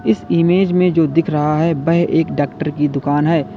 इस इमेज में जो दिख रहा है वह एक डॉक्टर की दुकान है।